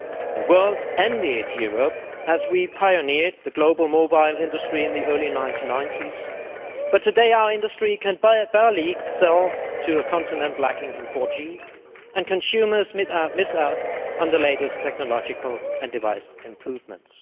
The world envied Europe as we pioneered the global mobile industry in the early 1990s, but today our industry can barely sell to a continent lacking in 4G and consumers miss out on the latest technological and device improvements.